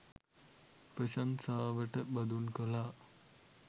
ප්‍රශංසාවට බඳුන් කළා.